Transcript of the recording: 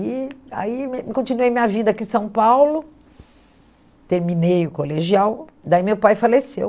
E aí me continuei minha vida aqui em São Paulo, terminei o colegial, daí meu pai faleceu.